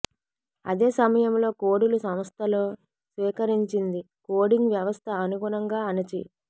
అదే సమయంలో కోడులు సంస్థలో స్వీకరించింది కోడింగ్ వ్యవస్థ అనుగుణంగా అణచి